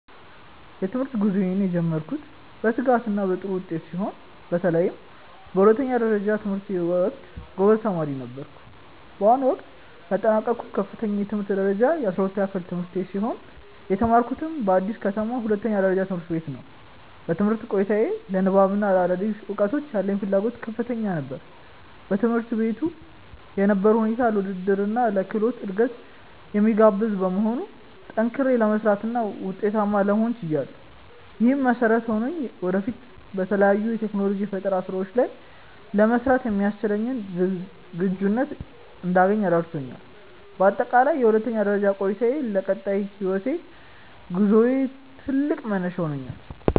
የትምህርት ጉዞዬን የጀመርኩት በትጋትና በጥሩ ውጤት ሲሆን፣ በተለይም በሁለተኛ ደረጃ ትምህርቴ ወቅት ጎበዝ ተማሪ ነበርኩ። በአሁኑ ወቅት ያጠናቀቅኩት ከፍተኛ የትምህርት ደረጃ የ12ኛ ክፍል ትምህርቴን ሲሆን፣ የተማርኩትም በአዲስ ከተማ ሁለተኛ ደረጃ ትምህርት ቤት ነው። በትምህርት ቆይታዬ ለንባብና ለአዳዲስ እውቀቶች ያለኝ ፍላጎት ከፍተኛ ነበር። በትምህርት ቤቱ የነበረው ሁኔታ ለውድድርና ለክህሎት እድገት የሚጋብዝ በመሆኑ፣ ጠንክሬ ለመስራትና ውጤታማ ለመሆን ችያለሁ። ይህም መሰረት ሆኖኝ ወደፊት በተለያዩ የቴክኖሎጂና የፈጠራ ስራዎች ላይ ለመሰማራት የሚያስችለኝን ዝግጁነት እንዳገኝ ረድቶኛል። በአጠቃላይ የሁለተኛ ደረጃ ቆይታዬ ለቀጣይ የህይወት ጉዞዬ ትልቅ መነሻ ሆኖኛል።